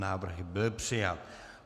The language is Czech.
Návrh byl přijat.